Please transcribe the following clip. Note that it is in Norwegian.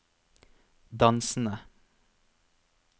dansende